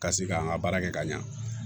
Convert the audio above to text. Ka se ka an ka baara kɛ ka ɲɛ